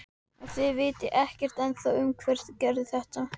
Og þið vitið ekkert ennþá um hver gerði þetta?